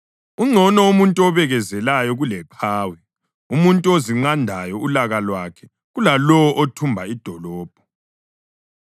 Ungcono umuntu obekezelayo kuleqhawe, umuntu ozinqandayo ulaka lwakhe kulalowo othumba idolobho.